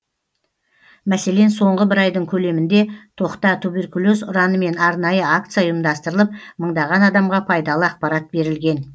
мәселен соңғы бір айдың көлемінде тоқта туберкулез ұранымен арнайы акция ұйымдастырылып мыңдаған адамға пайдалы ақпарат берілген